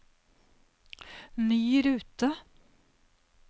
ny rute